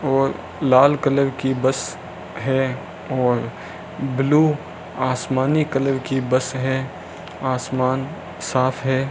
और लाल कलर की बस है और ब्ल्यू आसमानी कलर की बस है आसमान साफ है।